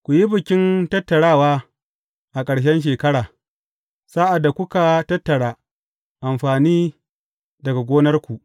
Ku yi Bikin Tattarawa a ƙarshen shekara, sa’ad da kuka tattara amfani daga gonarku.